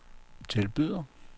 tilbyder